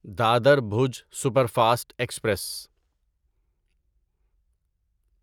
Dadar Bhuj superfast express